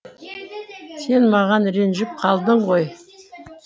сен маған ренжіп қалдың ғой